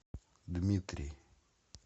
дмитрий